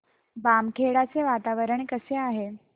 बामखेडा चे वातावरण कसे आहे